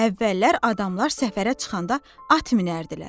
Əvvəllər adamlar səfərə çıxanda at minərdilər.